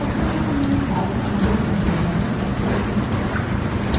এখন এই ছদ্মনাম নিয়ে কাজ আমাদের সম্পূর্ণ হয়ে গেছে